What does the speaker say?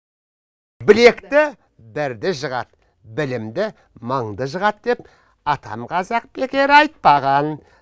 білекті бірді жығады білімді мыңды жығады деп атам қазақ бекер айтпаған